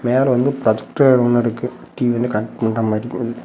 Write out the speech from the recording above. மேல வந்து ப்ரொஜெக்டரோ ஒரு மாறி இருக்கு டி_வில கனெக்ட் பண்ற மாறி.